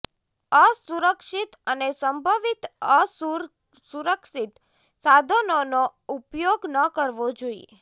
અસુરક્ષિત અને સંભવિત અસુરક્ષિત સાધનોનો ઉપયોગ ન કરવો જોઇએ